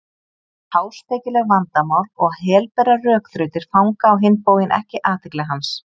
Háspekileg vandamál og helberar rökþrautir fanga á hinn bóginn ekki athygli hans.